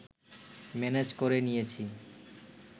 manage করে নিয়েছি